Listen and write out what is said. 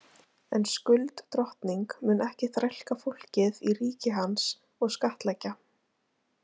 En Skuld drottning mun ekki þrælka fólkið í ríki hans og skattleggja.